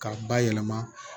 K'a bayɛlɛma